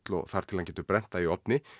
og þar til hann getur brennt það í ofni